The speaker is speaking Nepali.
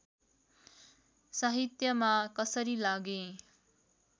साहित्यमा कसरी लागेँ